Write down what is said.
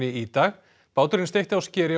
í dag báturinn steytti á skeri